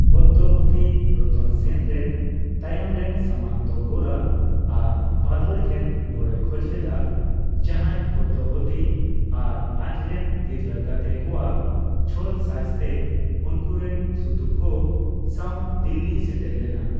ᱯᱚᱫᱽᱫᱟᱵᱚᱛᱤ ᱨᱚᱛᱚᱱ ᱥᱮᱱ ᱨᱮᱱ ᱛᱟᱭᱚᱢᱨᱮᱱ ᱥᱟᱢᱚᱱᱛᱚ ᱜᱚᱨᱟ ᱟᱨ ᱵᱟᱫᱚᱞ ᱴᱷᱮᱱ ᱜᱚᱲᱚᱭ ᱠᱷᱚᱡᱽᱞᱮᱫᱟ, ᱡᱟᱦᱟᱭ ᱯᱚᱫᱽᱫᱟᱵᱚᱛᱤ ᱟᱨ ᱟᱡᱨᱮᱱ ᱛᱤᱨᱞᱟᱹ ᱜᱟᱛᱮ ᱠᱚᱣᱟᱜ ᱪᱷᱚᱞ ᱥᱟᱡᱽᱛᱮ ᱩᱱᱠᱩᱨᱮᱱ ᱥᱩᱛᱩᱜᱠᱚ ᱥᱟᱣ ᱫᱤᱞᱞᱤᱭ ᱥᱮᱴᱮᱨ ᱞᱮᱱᱟ ᱾